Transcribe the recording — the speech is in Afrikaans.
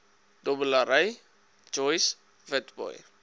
dobbelary joyce witbooi